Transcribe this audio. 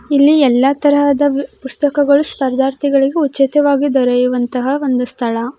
ಇಲ್ಲಿ ಎಲ್ಲ ತರಹದ ಪುಸ್ತಕಗಳು ಸ್ಪರ್ಧಾರ್ಥಿಗಳಿಗೂ ಉಚಿತವಾದ ದೊರೆಯುವಂಥ ಒಂದು ಸ್ಥಳ-